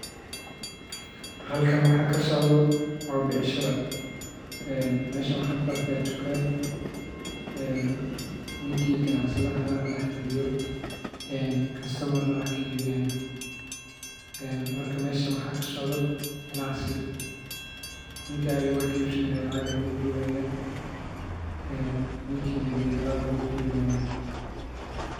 Halkan waxaa kasocdo waa becshire meshan waxaan kuarkaa dukaan ninki ganacsadhe ahaa neh daxfadiyo een kastomar neh wax kaiibinaya. Marka mesha waxaa ksocdeo ganacsi nini had elaab ayuu kaiibinaya.